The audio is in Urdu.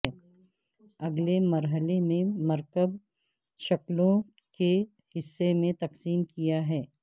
اگلے مرحلے میں مرکب شکلوں کے حصے میں تقسیم کیا ہے